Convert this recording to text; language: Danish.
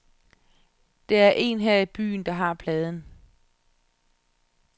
Der er en her i byen, der har pladen.